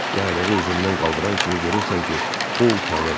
Yaylığı üzündən qaldıran kimi görürsən ki, o utanır.